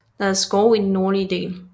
Der er skove i den nordlige del